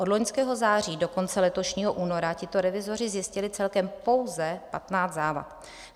Od loňského září do konce letošního února tito revizoři zjistili celkem pouze 15 závad.